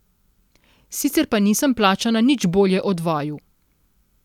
Sicer pa nisem plačana nič bolje od vaju.